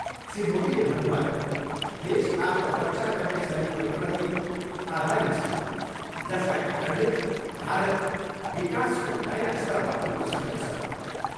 श्री मोदीले भन्नुभयो, देश आफ्नो रक्षा गर्ने सैनिकहरूप्रति आभारी छ जसका कारणले भारत विकासको नयाँ स्तरमा पुग्न सक्नेछ।